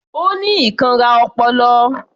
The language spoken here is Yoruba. Ó ní ìkanra ọpọlọ